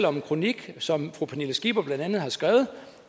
om en kronik som fru pernille skipper har skrevet